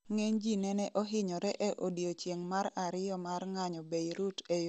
ngeny ji nene ohinyore e odiechieng' mar ariyo mar ng'anyo Beirut e yore mag piche